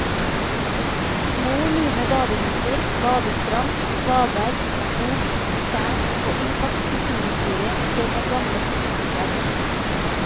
Små lune badeviker, badestrand, svaberg, skog, tjern og intakt kulturhistorie i form av gamle festningsverk.